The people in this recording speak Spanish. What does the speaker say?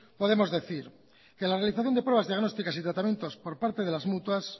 podemos decir que la realización de pruebas diagnósticas y de tratamientos por parte de las mutuas